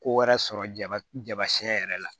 Ko wɛrɛ sɔrɔ jaba jaba siɲɛ yɛrɛ la